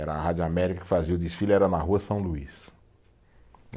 Era a Rádio América que fazia o desfile, era na rua São Luís.